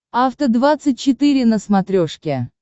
афта двадцать четыре на смотрешке